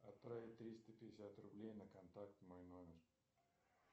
отправить триста пятьдесят рублей на контакт мой номер